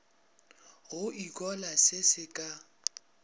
go ikhola se se ka